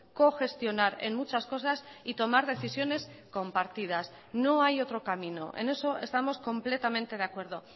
cogestionar en muchas cosas y tomar decisiones compartidas no hay otro camino en eso estamos completamente de acuerdo